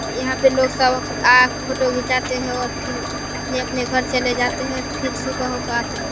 यहाँ पे लोग सब आ फोटो खिचाते है और फिर अपने-अपने घर चले जाते हैं। फिर सुबह होकर आते है।